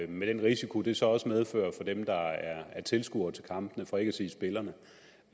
med den risiko det så også medfører for dem der er tilskuere til kampene for ikke at sige spillerne